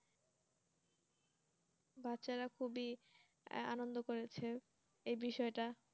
বাচ্চারা খুবই আনন্দ করেছে এ বিষয়টা